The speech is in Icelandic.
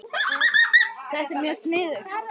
Þetta er bara mjög sniðugt